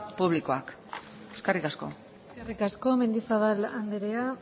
publikoak eskerrik asko eskerrik asko mendizabal andrea